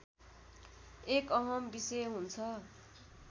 एक अहम् विषय हुन्छ